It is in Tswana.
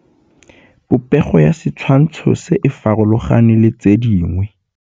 Popêgo ya setshwantshô se, e farologane le tse dingwe.